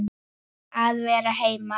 Að vera heima.